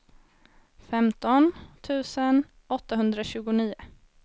femton tusen åttahundratjugonio